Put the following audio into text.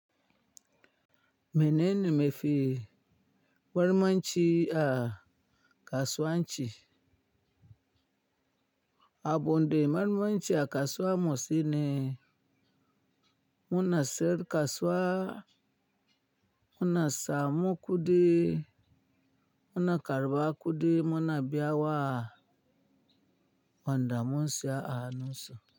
Mene ne me fi marmanci a kasuwanci? Abun da marmanci a kasuwa motsi ne. Muna siyar da kasuwa, muna sama kuɗi, muna karɓa kuɗi, muna biya wa wanda munsiya a hanunsu.